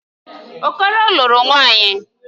Okoro lụrụ nwaanyị.